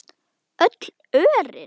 Öll örin.